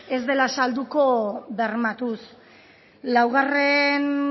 ez dela salduko bermatuz laugarren